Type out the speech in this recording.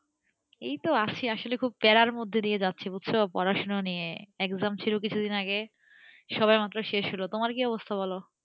এই তো আছি আসলে খুব প্যারার মধ্যে দিয়ে যাচ্ছি বুঝছ পড়াশোনা নিয়ে exam ছিল কিছুদিন আগে, সবেমাত্র শেষ হলো। তোমার কি অবস্থা বলো?